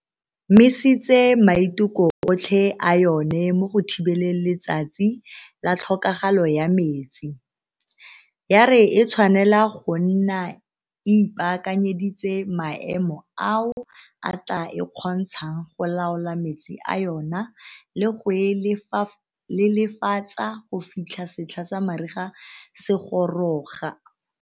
Misitse maiteko otlhe a yona mo go thibeleng Letsatsi la Tlhokagalo ya Metsi, ya re e tshwanela go nna e ipaakanyeditse maemo ao a tla e kgontshang go laola metsi a yona le go a lelefatsa go fitlha setlha sa mariga se goroga.